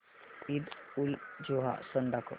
ईदउलजुहा सण दाखव